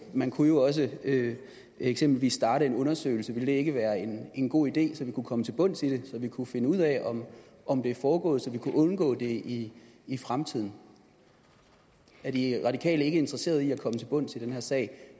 man kunne jo også eksempelvis starte en undersøgelse og ville det ikke være en en god idé så vi kunne komme til bunds i det så vi kunne finde ud af om om det er foregået og så vi kunne undgå det i i fremtiden er de radikale ikke interesseret i at komme til bunds i den her sag